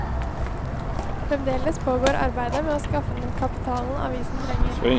Fremdeles pågår arbeidet med å skaffe den kapitalen avisen trenger.